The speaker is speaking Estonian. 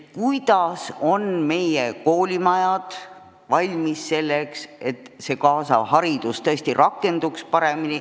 Kui hästi ikkagi on meie koolimajad valmis selleks, et kaasavat haridust edukalt rakendada?